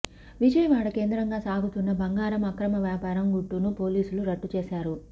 విజయవాడ కేంద్రంగా సాగుతున్న బంగారం అక్రమ వ్యాపారం గుట్టును పోలీసులు రట్టుచేశారు